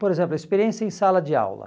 Por exemplo, a experiência em sala de aula.